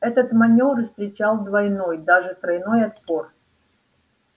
этот манёвр встречал двойной даже тройной отпор